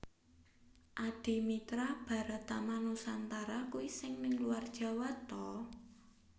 Adimitra Baratama Nusantara kui sing ning luar Jawa to?